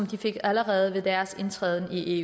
den fik de allerede ved deres indtræden i